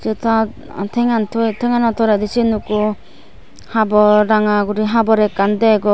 ta tengan toye tengano toledi sen ekko habor ranga guri habor ekkan degong.